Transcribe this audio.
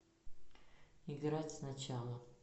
играть сначала